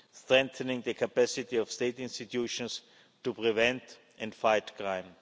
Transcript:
strengthening the capacity of state institutions to prevent and fight crime